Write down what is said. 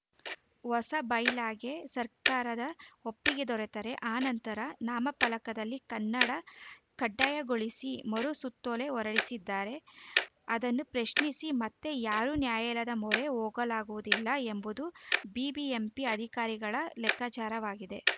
ಹೊಸ ಬೈಲಾಗೆ ಸರ್ಕಾರದ ಒಪ್ಪಿಗೆ ದೊರೆತರೆ ಆ ನಂತರ ನಾಮಫಲಕದಲ್ಲಿ ಕನ್ನಡ ಕಡ್ಡಾಯಗೊಳಿಸಿ ಮರು ಸುತ್ತೋಲೆ ಹೊರಡಿಸಿದರೆ ಅದನ್ನು ಪ್ರಶ್ನಿಸಿ ಮತ್ತೆ ಯಾರೂ ನ್ಯಾಯಾಲಯದ ಮೊರೆ ಹೋಗಲಾಗುವುದಿಲ್ಲ ಎಂಬುದು ಬಿಬಿಎಂಪಿ ಅಧಿಕಾರಿಗಳ ಲೆಕ್ಕಾಚಾರವಾಗಿದೆ